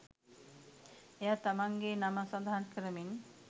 එයා තමන්ගේ නම සඳහන් කරමින්